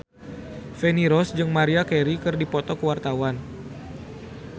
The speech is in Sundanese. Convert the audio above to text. Feni Rose jeung Maria Carey keur dipoto ku wartawan